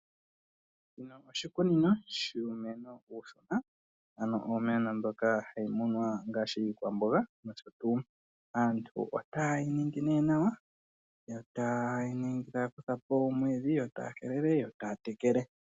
Oshikunino shuumeno uushona, ano iimeno mbyoka hayi munwa ngaashi iikwamboga nosho tuu. Aantu itaye yi ningi nee nawa, yo taya kutha po omwiidhi, yo taya helele, yo taya tekele.